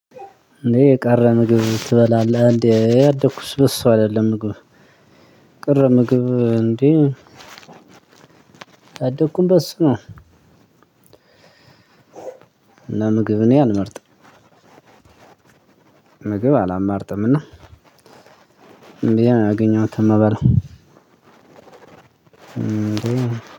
እኔ የቀረ ምግብ ትበላለህ እንዴ? ያደኩት በሱ አይደለም ምግብ ቅር ምግብ እንዴ ያደኩም በሱ ነው። እና ምግብ እኔ አልመርጥም። ምግብ አላማርጥም እና ያገኘኋት ምበላው።